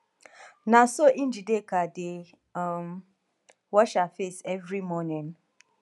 na so njideka dey um wash her face every morning